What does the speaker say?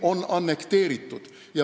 Krimm on annekteeritud.